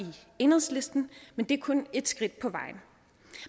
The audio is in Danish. enhedslisten men det er kun et skridt på vejen